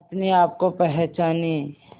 अपने आप को पहचाने